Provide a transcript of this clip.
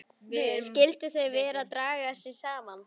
Skyldu þau vera að draga sig saman?